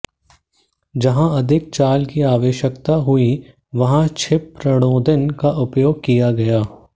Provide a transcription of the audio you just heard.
जहाँ अधिक चाल की आवश्यकता हुई वहाँ क्षिपप्रणोदन का उपयोग किया गया